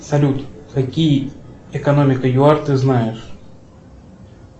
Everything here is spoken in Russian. салют какие экономика юар ты знаешь